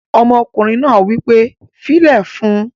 Ọmọkùnrin náà wí pé "fílẹ̀ fún un!"